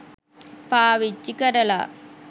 පාවිච්චි කරලා